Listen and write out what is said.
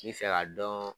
N bɛ fɛ ka dɔn